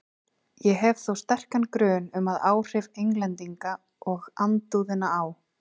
Ég hef þó sterkan grun um, að áhrif Englendinga og andúðina á